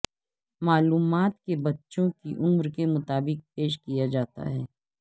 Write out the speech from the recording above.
معلومات کے بچوں کی عمر کے مطابق پیش کیا جاتا ہے